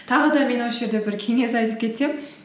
тағы да мен осы жерде бір кеңес айтып кетемін